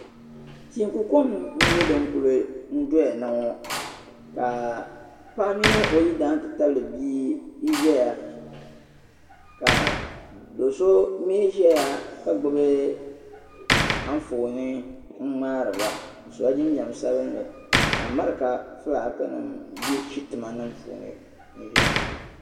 Teiku kom n nyɛ din kuli doya na ŋɔ ka paɣa mini o yidana n ti tabili bi' n zaya ka do' so mii zaya ka gbubi anfooni n ŋmaari ba sola jinjam sabinli ka America filaakinima bɛ shitimanima puuni n zaya